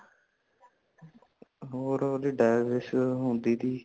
ਹੋਰ ਓਹਦੀ division ਹੁੰਦੀ ਤੀ